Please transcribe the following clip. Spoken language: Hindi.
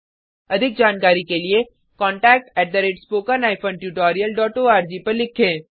अधिक जानकारी के लिए contactspoken tutorialorg पर लिखें